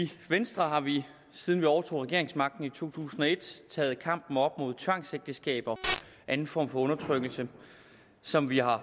venstre har vi siden vi overtog regeringsmagten i to tusind og et taget kampen op mod tvangsægteskaber og anden form for undertrykkelse som vi har